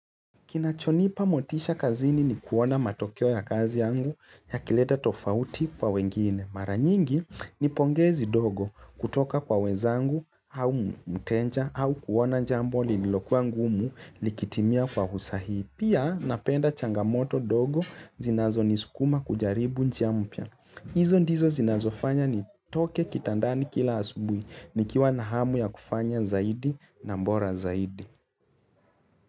Kinachonipa motisha kazini ni kuona matokeo ya kazi yangu ya kileta tofauti kwa wengine. Maranyingi ni pongezi dogo kutoka kwa wenzangu au mteja au kuona jambo linilokuwa ngumu likitimia kwa usahihi. Pia napenda changamoto ndogo zinazo nisukuma kujaribu njia mpya. Hizo ndizo zinazofanya ni toke kitandani kila asubuhi ni kiwa nahamu ya kufanya zaidi na bora zaidi.